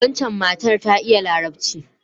Waccan matar ta iya Larabci.